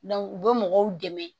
u bɛ mɔgɔw dɛmɛ